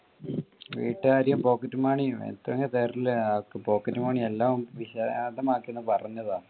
വീട്ടുകാരും pocket money എത്രയാ തരുന്നത് എല്ലാം വിശദമാക്കി ഒന്ന് പറഞ്ഞു താ.